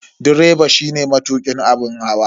Direba shine matukin abun hawa.